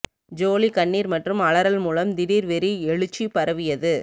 ஜோலி கண்ணீர் மற்றும் அலறல் மூலம் திடீர் வெறி எழுச்சி பரவியது